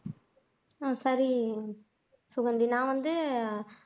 உம் சரி சுகந்தி நான் வந்து